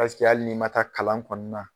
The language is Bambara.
hali n'i ma taa kalan kɔ na